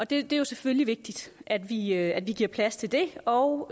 det er jo selvfølgelig vigtigt at vi at vi giver plads til det og